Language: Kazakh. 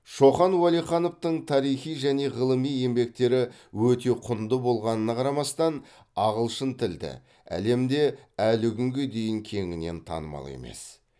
шоқан уәлихановтың тарихи және ғылыми еңбектері өте құнды болғанына қарамастан ағылшын тілді әлемде әлі күнге дейін кеңінен танымал емес